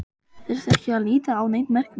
Þyrfti ekki að líta á neinn merkimiða.